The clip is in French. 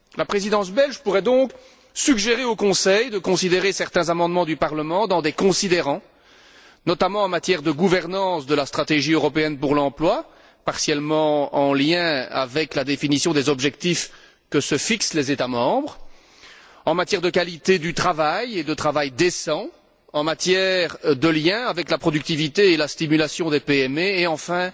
La Présidence belge pourrait donc suggérer au Conseil de tenir compte de certains amendements du Parlement dans des considérants, notamment en matière de gouvernance de la stratégie européenne pour l'emploi, partiellement en relation avec la définition des objectifs que se fixent les États membres, en matière de qualité du travail et de travail décent, en matière de relation avec la productivité et la stimulation des PME et, enfin,